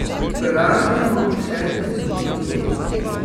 Pražimo še minuto, dve.